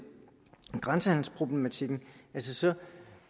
grænsehandelsproblematikken